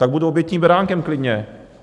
Tak budu obětním beránkem klidně.